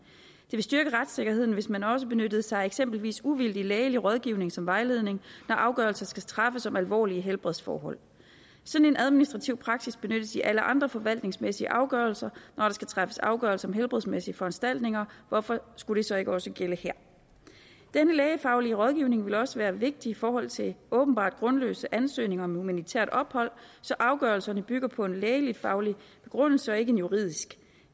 ville styrke retssikkerheden hvis man også benyttede sig af eksempelvis uvildig lægelig rådgivning som vejledning når afgørelser skal træffes om alvorlige helbredsforhold sådan en administrativ praksis benyttes i alle andre forvaltningsmæssige afgørelser når der skal træffes afgørelser om helbredsmæssige foranstaltninger hvorfor skulle det så ikke også gælde her denne lægefaglige rådgivning vil også være vigtig i forhold til åbenbart grundløse ansøgninger om humanitært ophold så afgørelserne bygger på en lægefaglig begrundelse og ikke en juridisk